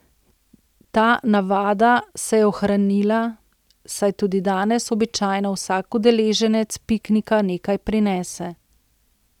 Ta navada se je ohranila, saj tudi danes običajno vsak udeleženec piknika nekaj prinese.